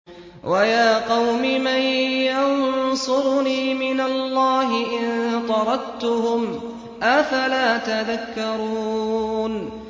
وَيَا قَوْمِ مَن يَنصُرُنِي مِنَ اللَّهِ إِن طَرَدتُّهُمْ ۚ أَفَلَا تَذَكَّرُونَ